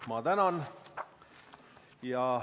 Ma tänan!